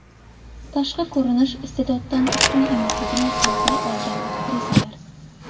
Tashqi ko‘rinish iste’doddan ustun emasligini isbotlay olgan aktrisalar .